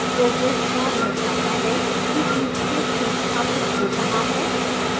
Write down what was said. progress bar दर्शाता है कि inkscape संस्थापित हो रहा है